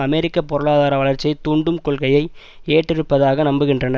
அமெரிக்க பொருளாதார வளர்ச்சியை தூண்டும் கொள்கையை ஏற்றிருப்பதாக நம்புகின்றன